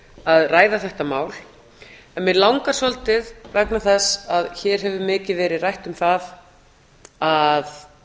að ræða þetta mál mig langar svolítið vegna þess að hér hefur mikið verið rætt um að